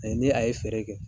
ni a ye feere kɛ